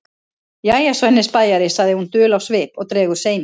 Jæja, Svenni spæjari, segir hún dul á svip og dregur seiminn.